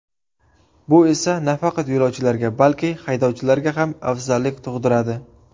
Bu esa, nafaqat yo‘lovchilarga, balki, haydovchilarga ham afzallik tug‘diradi.